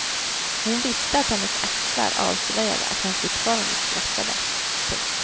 Hon visste att hennes axlar avslöjade att hon fortfarande skrattade. punkt